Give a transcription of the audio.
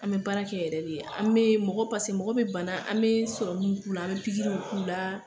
An bɛ baarakɛ yɛrɛ de , an bɛ mɔgɔ paseke mɔgɔ bɛ bana an bɛ sɔrɔmunw k'u la , an bɛ pikiri k' a la.